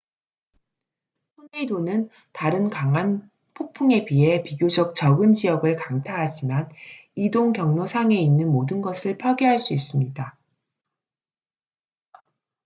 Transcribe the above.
토네이도는 다른 강한 폭풍에 비해 비교적 적은 지역을 강타하지만 이동 경로상에 있는 모든 것을 파괴할 수 있습니다